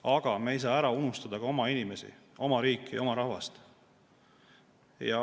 Aga me ei saa ära unustada ka oma inimesi, oma riiki ja oma rahvast.